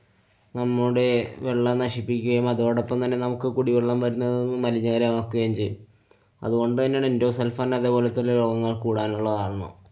നമ്മുടെ വെള്ളം നശിപ്പിക്കുകയും അതോടൊപ്പം തന്നെ നമുക്ക് കുടിവെള്ളം വരുന്നത് മലിനകരമാക്കുകയും ചെയ്യും. അതുകൊണ്ട് തന്നെയാണ് എന്‍ഡോസള്‍ഫാന്‍ അതെപോലത്തെ രോഗങ്ങള്‍ കൂടാനുള്ള കാരണം.